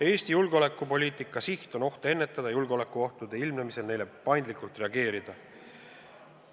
Eesti julgeolekupoliitika siht on ohte ennetada ja julgeolekuohtude ilmnemisel neile paindlikult reageerida.